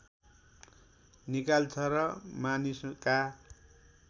निकाल्छ र मानिसका